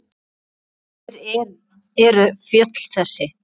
Hver eru fjöll þessi?